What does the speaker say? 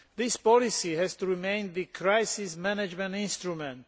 This policy has to remain the EU's crisis management instrument.